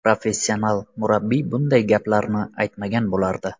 Professional murabbiy bunday gaplarni aytmagan bo‘lardi.